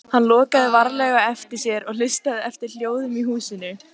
Hann lokaði varlega á eftir sér og hlustaði eftir hljóðum í húsinu.